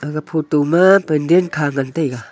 aga photo ma pandal kha ngan taiga.